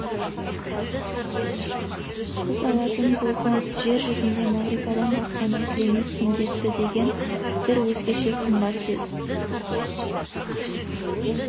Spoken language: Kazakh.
қыз алатын болсам жер жүзінде мағрипадан басқаны тілемеспін депті деген бір өзгеше қымбат сөз